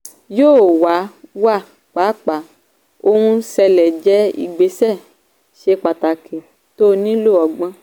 yóò wà wà pàápàá ohun ṣẹlẹ̀ jẹ́ ìgbésẹ̀ ṣe pàtàkì tó nílò ọgbọ́n.